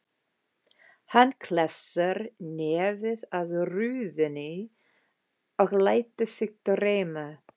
Hann klessir nefið að rúðunni og lætur sig dreyma.